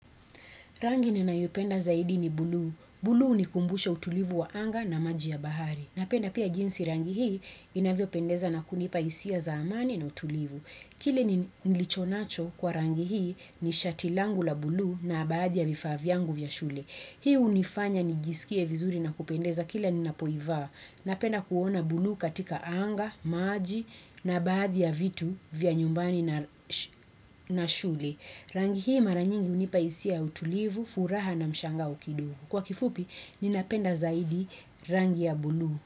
Rangi ninayopenda zaidi ni bluu. Bluu ni kumbusha utulivu wa anga na maji ya bahari. Napenda pia jinsi rangi hii inavyo pendeza na kunipa isia za amani na utulivu. Kile ni lichonacho kwa rangi hii ni shatilangu la bluu na baadhi ya vifaa vyangu vya shule. Hii hunifanya nijisikie vizuri na kupendeza kila ninapoivaa. Napenda kuona bluu katika anga, maji na baadhi ya vitu vya nyumbani na shule. Rangi hii maranyingi hunipaisia utulivu, furaha na mshango ukidumu. Kwa kifupi, ninapenda zaidi rangi ya blue.